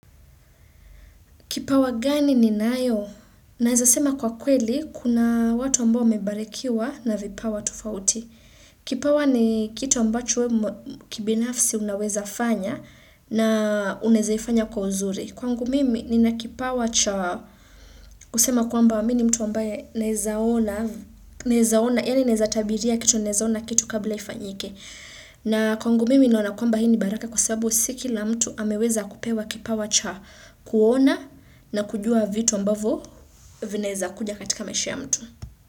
Kipawa gani ni nayo? Naizasema kwa kweli, kuna watu ambao wamebarikiwa na vipawa tofauti. Kipawa ni kitu ambacho kibinafsi unaweza fanya na unaezaifanya kwa uzuri. Kwangu mimi ninakipawa cha kusema kwamba mi ni mtu ambaye naezaona, yani naeza tabiria kitu naezaona kitu kabla ifanyike. Na kwangu mimi naona kwamba hii ni baraka kwa sababu si kila mtu ameweza kupewa kipawa cha kuona na kujua vitu ambavo vinaeza kuja katika maisha ya mtu.